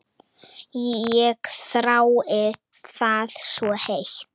Ég þrái það svo heitt.